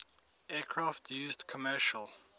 aircraft used commercial